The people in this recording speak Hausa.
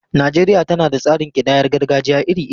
Najeriya tana da tsarin kidayar gargajiya iri-iri.